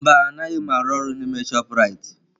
Mba anaghị m arụ ọrụ n'ime chopụ Raitị